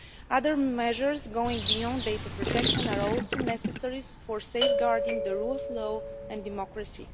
Other measures going beyond data protection are also necessary for safeguarding the rule of law and democracy.